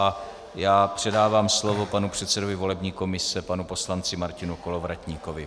A já předávám slovo panu předsedovi volební komise, panu poslanci Martinu Kolovratníkovi.